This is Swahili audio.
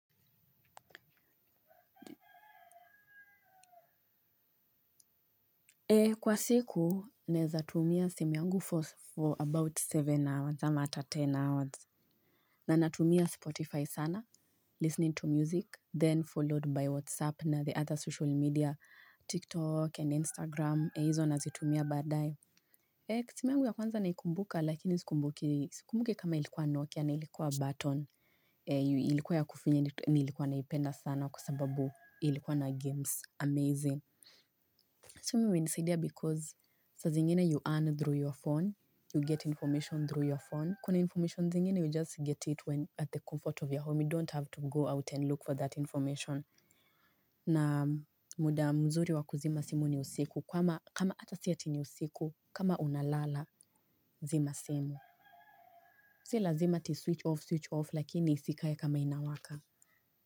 Kwa siku, ninaweza tumia simu yangu for about seven hours, ama hata ten hours. Na natumia Spotify sana, listening to music, then followed by WhatsApp na the other social media, TikTok and Instagram, hizo nazitumia baadaye. Simu yangu ya kwanza naikumbuka, lakini sikumbuki, sikumbuki kama ilikuwa Nokia na ilikuwa button, ilikuwa ya kufinya nilikuwa naipenda sana kwa sababu ilikuwa na games. Amazing. Simu imenisaidia because saa zingine you earn through your phone. You get information through your phone. Kuna information zingine you just get it when at the comfort of your home. You don't have to go out and look for that information. Naam, muda mzuri wa kuzima simu ni usiku, kama, hata si ati ni usiku kama unalala, zima simu. Si lazima ati switch off, switch off, lakini isikae kama inawaka.